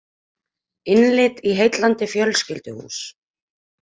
Innlit í heillandi fjölskylduhús